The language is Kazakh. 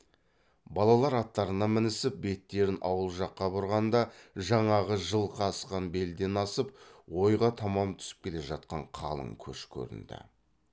балалар аттарына мінісіп беттерін ауыл жаққа бұрғанда жаңағы жылқы асқан белден асып ойға таман түсіп келе жатқан қалың көш көрінді